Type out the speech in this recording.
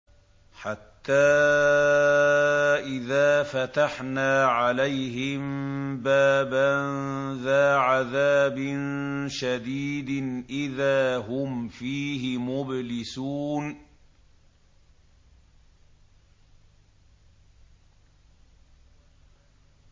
حَتَّىٰ إِذَا فَتَحْنَا عَلَيْهِم بَابًا ذَا عَذَابٍ شَدِيدٍ إِذَا هُمْ فِيهِ مُبْلِسُونَ